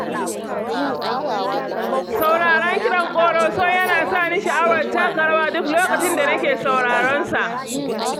Sauraron kiɗan ƙoroso yana sa ni sha'awar taka rawa duk lokacin da nake sauraron sa.